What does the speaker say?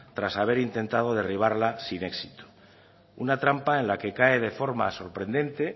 tras haber intentado derribarla sin éxito una trampa en la que cae de forma sorprendente